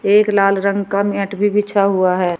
एक लाल रंग का मैट भी बिछ हुआ है।